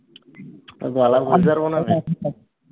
গলা বুঝতে পারব না